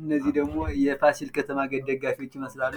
ባንዲራዎች ኩራትንና አንድነትን የሚያንፀባርቁ ሲሆን፣ መለያዎች